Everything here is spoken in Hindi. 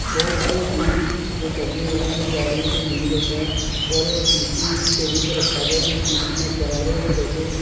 बहोत सारे बील जो टंगे हुए है जो गाड़ियों के बील होते है और एक पी_सी टेबुल पर रखा गया है जिस पी_सी में कैमरे जैसे--